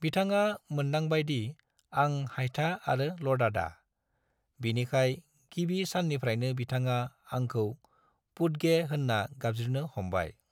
बिथाङा मोन्दांबाय दि आं हायथा आरो लदादा, बिनिखाय गिबि साननिफ्रायनो बिथाङा आंखौ "पुड्गे" होनना गाबज्रिनो हमबाय।